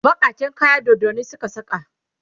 bakaken kaya doddanin Suka saka